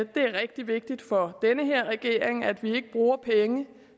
det er rigtig vigtigt for den her regering at vi ikke bruger penge